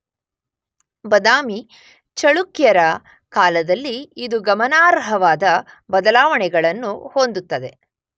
ಬದಾಮಿ ಚಳುಕ್ಯರ ಕಾಲದಲ್ಲಿ ಇದು ಗಮನಾರ್ಹವಾದ ಬದಲಾವಣೆಗಳನ್ನು ಹೊಂದುತ್ತದೆ.